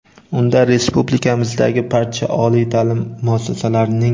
Unda Respublikamizdagi barcha oliy taʼlim muassasalarining.